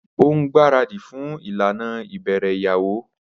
O ngbaradi fún ìlànà ibẹrẹ ìyàwó